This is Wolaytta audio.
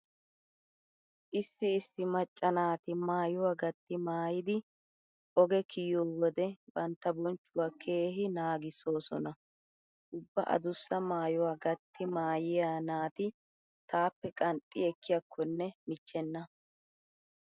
Issi issi macca naati maayuwa gatti maayidi oge kiyiyo wode bantta bonchchuwa keehi naagissoosona. Ubba adussa maayuwa gatti maayiya naati taappe qanxxi ekkiyakkonne michchenna.